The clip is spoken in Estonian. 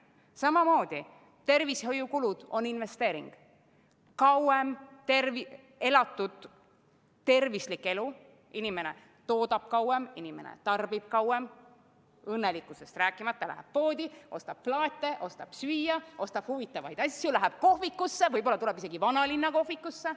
Samamoodi on tervishoiukulud investeering: kauem elatud tervislik elu, inimene toodab kauem, inimene tarbib kauem, õnnelikkusest rääkimata, ta läheb poodi, ostab plaate, ostab süüa, ostab huvitavaid asju, läheb kohvikusse, võib-olla tuleb isegi vanalinna kohvikusse.